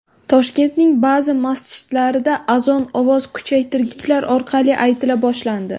Toshkentning ba’zi masjidlarida azon ovoz kuchaytirgichlar orqali aytila boshlandi.